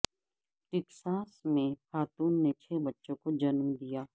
Texas میں خاتون نے چھ بچوں کو جنم دیا